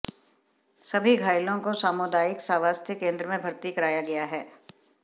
सभी घायलों को सामुदायिक स्वास्थ्य केंद्र में भर्ती कराया गया है